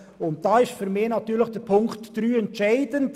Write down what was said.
Dabei ist für mich Ziffer 3 entscheidend.